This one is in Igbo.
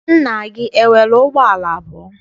Nna gị enwere ụgbọala abụọ?